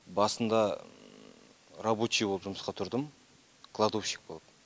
басында рабочий болып жұмысқа тұрдым кладовщик болып